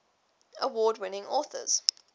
award winning authors